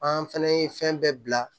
An fɛnɛ ye fɛn bɛɛ bila